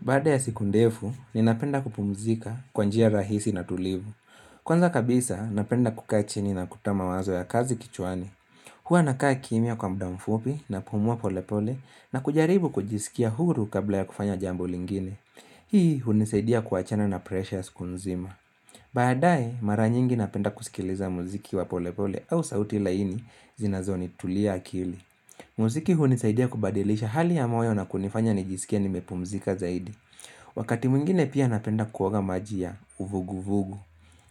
Baada ya siku ndefu, ninapenda kupumzika kwa njia rahisi na tulivu. Kwanza kabisa, napenda kukaa chini na kutama wazo ya kazi kichwani. Hua nakaa kimya kwa muda mfupi na kupumua pole pole na kujaribu kujisikia huru kabla ya kufanya jambu lingine. Hii hunisaidia kuwachana na pressure ya aiko nzima. Badaae, mara nyingi napenda kusikiliza muziki wa pole pole au sauti laini zinazoni tulia akili. Muziki hunisaidia kubadilisha hali ya moyo na kunifanya nijisikia nimepumzika zaidi. Wakati mwingine pia napenda kuoga maji ya, uvugu vugu.